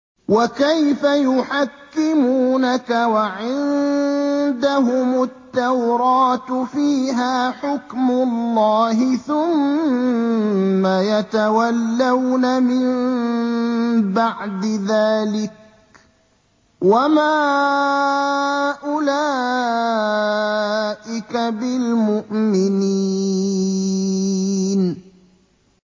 وَكَيْفَ يُحَكِّمُونَكَ وَعِندَهُمُ التَّوْرَاةُ فِيهَا حُكْمُ اللَّهِ ثُمَّ يَتَوَلَّوْنَ مِن بَعْدِ ذَٰلِكَ ۚ وَمَا أُولَٰئِكَ بِالْمُؤْمِنِينَ